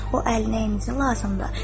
“O əl nəyinizə lazımdır?”